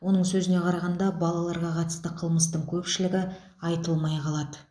оның сөзіне қарағанда балаларға қатысты қылмыстың көпшілігі айтылмай қалады